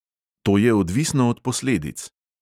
To je odvisno od posledic.